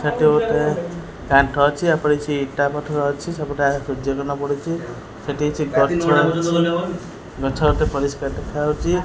ସେଠି ଗୁଟେ କାନ୍ତ ଅଛି। ୟା ଉପରେ କିଛି ଇଟା ପଥର ଅଛି। ସବୁ ଟା ସେଠି କିଛି ଗଛ ଅଛି। ଗଛ ଗୋଟେ ପରିଷ୍କାର ଦେଖାଯାଉଚି।